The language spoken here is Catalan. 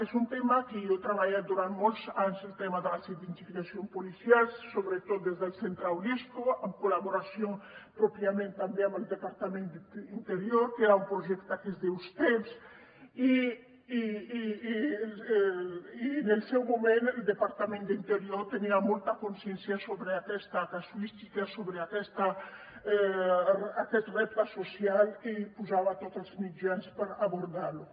és un tema que jo he treballat durant molts anys el tema de les identificacions policials sobretot des del centre unesco en col·laboració pròpiament també amb el departament d’interior que era un projecte que es diu stepss i en el seu moment el departament d’interior tenia molta consciència sobre aquesta casuística sobre aquest repte social i hi posava tots els mitjans per abordar lo